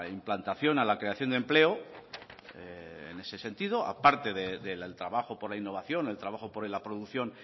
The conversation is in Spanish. implantación a la creación de empleo en ese sentido a parte del trabajo por la innovación el trabajo por la producción